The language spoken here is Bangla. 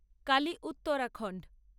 কালী-উত্তরাখণ্ড